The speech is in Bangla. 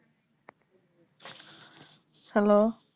Hello